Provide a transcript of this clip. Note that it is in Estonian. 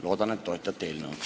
Loodan, et toetate eelnõu.